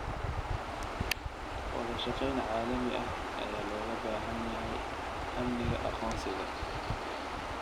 Wadashaqeyn caalami ah ayaa looga baahan yahay amniga aqoonsiga.